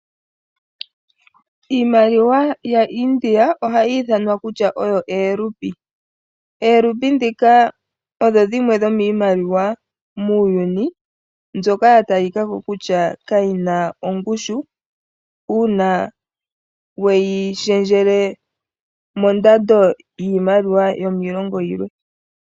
Iimaliwa yaIndia ohayi ithanwa kutya oyo eerupi. Oorupi dhoka odho dhimwe dhomiimaliwa muuyuni, mbyoka ya talika ko kutya kayina ongushu, uuna weyi shendjele mondando yiimaliwa yomiilongo yilwe.